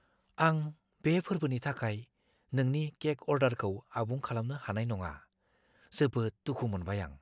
आं बे फोर्बोनि थाखाय नोंनि केक अर्डारखौ आबुं खालामनो हानाय नङा। जोबोद दुखु मोनबाय आं!